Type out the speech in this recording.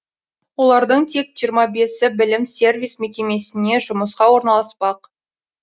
олардың тек жиырма бесі білім сервис мекемесіне жұмысқа орналаспақ